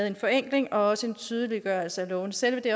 en forenkling og også en tydeliggørelse af lovene selve det